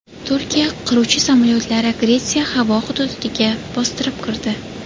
Turkiya qiruvchi samolyotlari Gretsiya havo hududiga bostirib kirdi.